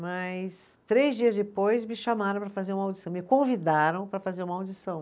Mas três dias depois me chamaram para fazer uma audição, me convidaram para fazer uma audição.